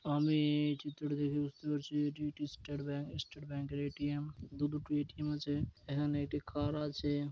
আমি-ই এই চিত্রটি দেখে বুঝতে পারছি এটি একটি স্টেট ব্যাঙ্ক স্টেট ব্যাঙ্ক - এর এ.টি.এম. । দু দুটি এ.টি.এম. আছে এখানে একটি কার আছে।